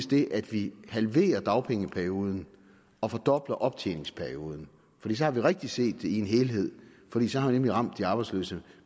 det at vi halverer dagpengeperioden og fordobler optjeningsperioden fordi så har vi rigtigt set det i en helhed fordi så har vi nemlig ramt de arbejdsløse